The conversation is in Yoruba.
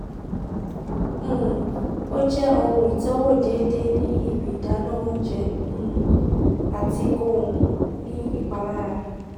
um o jẹ ohun itọwo deede ni ibi idana ounjẹ um ati ko um ni ipalara